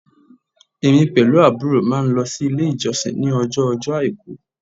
Èmí pẹ̀lú àbúrò máa n lo sílé ìjọsìn ni ọjọ ojó àìkú